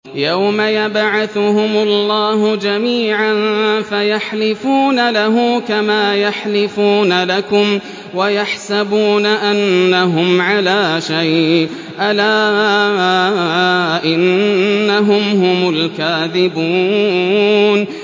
يَوْمَ يَبْعَثُهُمُ اللَّهُ جَمِيعًا فَيَحْلِفُونَ لَهُ كَمَا يَحْلِفُونَ لَكُمْ ۖ وَيَحْسَبُونَ أَنَّهُمْ عَلَىٰ شَيْءٍ ۚ أَلَا إِنَّهُمْ هُمُ الْكَاذِبُونَ